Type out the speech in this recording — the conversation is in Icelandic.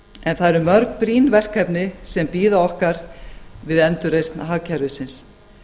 en það eru mörg brýn verkefni sem bíða okkar við endurreisn hagkerfisins